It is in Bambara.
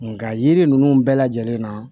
Nka yiri ninnu bɛɛ lajɛlen na